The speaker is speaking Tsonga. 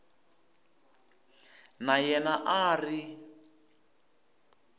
na yena a a ri